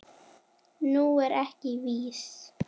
Nú er ég viss!